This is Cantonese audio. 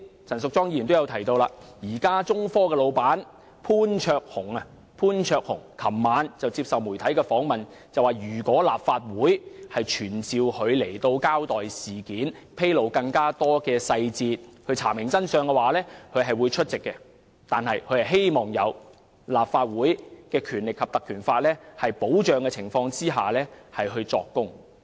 陳淑莊議員剛才也提到，中科的老闆潘焯鴻昨晚接受媒體訪問時表示，如果立法會傳召他交代事件，披露更多細節以查明真相，他會出席，但他希望在有《立法會條例》保障的情況下作供。